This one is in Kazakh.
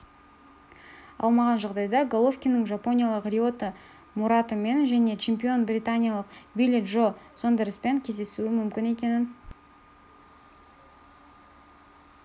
алмаған жағдайда головкиннің жапониялық риота муратамен және чемпионы британиялық билли джо сондерспен кездесуі мүмкін екенін